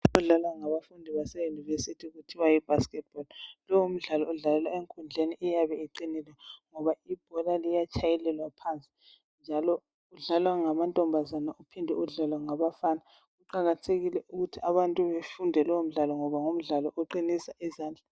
Umdlalo odlalwa ngabafundi base universities kuthiwa yibasketball. Lo ngumdlalo odlalelwa enkundleni eyabe iqinile ngoba ibhola liyatshayelelwa phansi njalo udlalwa ngamantombazane uphinde udlalwe ngabafana. Kuqakathekile ukuthi abantu befunde lowo mdlalo ngoba ngumdlalo oqinisa izandla.